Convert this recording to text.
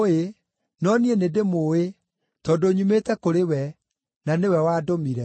no niĩ nĩndĩmũũĩ, tondũ nyumĩte kũrĩ we, na nĩwe wandũmire.”